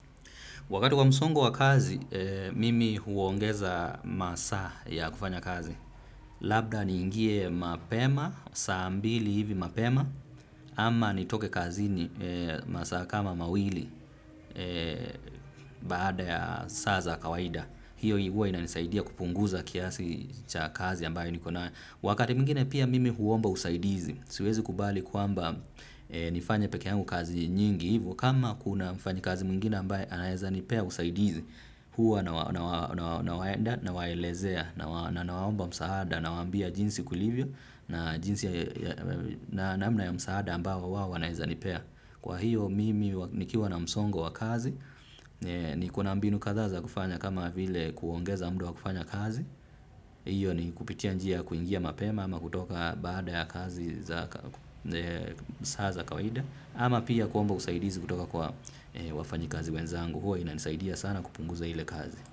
Wakati wa msongo wa kazi, mimi huongeza masaa ya kufanya kazi. Labda ni ingie mapema, saa mbili hivi mapema, ama nitoke kazi ni masaa kama mawili baada ya saa za kawaida. Hiyo ilikua inanisaidia kupunguza kiasi cha kazi ambayo niko nayo. Wakati mwingine pia mimi huomba usaidizi, siwezi kubali kwamba nifanye pekee yangu kazi nyingi hivo. Kama kuna mfanyikazi mwingine ambaye anaeza nipea usaidizi huwa nawaenda nawaelezea na nawaomba msaada nawa ambia jinsi kulivyo na jinsi na namna ya msaada ambao wao wanaeza nipea. Kwa hiyo mimi nikiwa na msongo wa kazi nikona mbinu kadha za kufanya kama vile kuongeza muda wa kufanya kazi. Hiyo ni kupitia njia ya kuingia mapema ama kutoka baada ya kazi za saa za kawaida. Ama pia kuomba usaidizi kutoka kwa wafanyikazi wenzangu huwa inanisaidia sana kupunguza ile kazi.